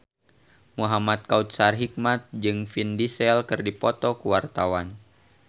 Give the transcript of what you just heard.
Muhamad Kautsar Hikmat jeung Vin Diesel keur dipoto ku wartawan